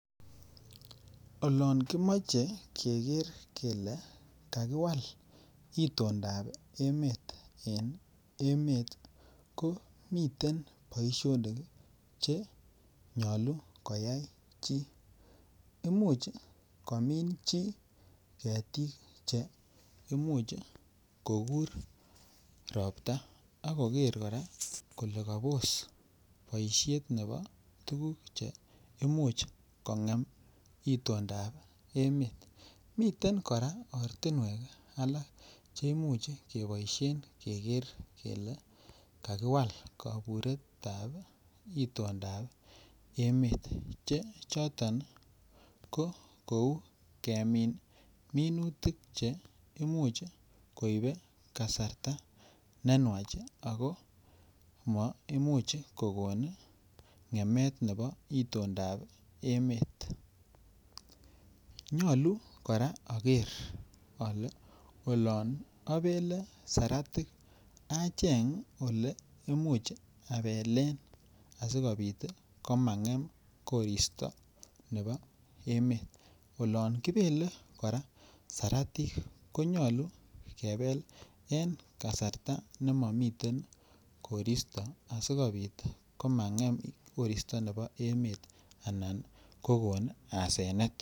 Olan kimache keker kele kakikwal itondap emet en emet ko miten poishonik che nyalu koyai chi. Imuch komin chi ketik che imuch kokur ropta ak koker kora kole kapos poishet nepa tuguk che imuch kong'em itondap emet. Miten kora ortinwek alak che imuch kepaishen keker kele kakiwal kapuretap itondap emet che choton ko kou kemin minutik che imuchi koipe kasarta ne nwach ako ma imuch kokon ng'emet nepa itondap emet. Nyalu kora aker ale olan apele saratik acheng' ole imuchi apelen asikopit komang'em korista nepa emet. Olan kipele kora saratik ko nyalu kepel eng' kasarta ne mamiten koristo asikopit komang'em korista nepo emet anan kokon asenet.